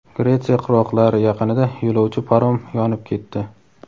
Gretsiya qirg‘oqlari yaqinida yo‘lovchi parom yonib ketdi.